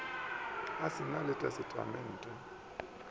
a se na le testamente